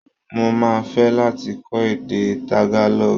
Mo máa fẹ́ láti kọ́ èdè Tagalog.